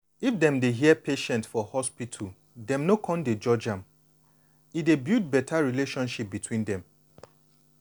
if dem dey hear patient for hospital dem no con dey judge am e dey build beta understanding between dem.